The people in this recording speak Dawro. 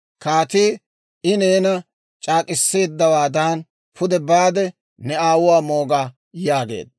Kaatii, «I neena c'aak'k'iseeddawaadan pude baade ne aawuwaa mooga» yaageedda.